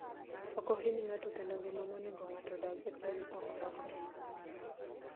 ok ohiny ng'ato kendo ngima monedo ng'ato odag e piny ok lokre